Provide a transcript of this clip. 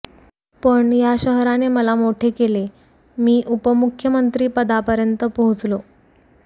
पण या शहराने मला मोठे केले मी उपमुख्यमंत्री पदापर्यंत पोहचलो